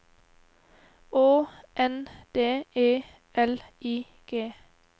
Å N D E L I G